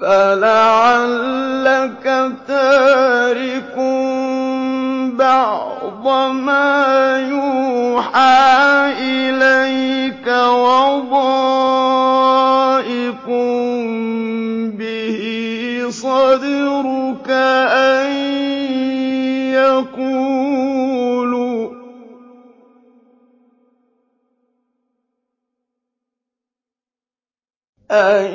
فَلَعَلَّكَ تَارِكٌ بَعْضَ مَا يُوحَىٰ إِلَيْكَ وَضَائِقٌ بِهِ صَدْرُكَ أَن